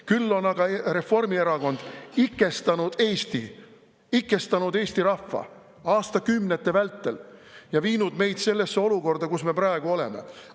Küll on aga Reformierakond ikestanud Eesti, ikestanud Eesti rahva aastakümnete vältel ja viinud meid sellesse olukorda, kus me praegu oleme.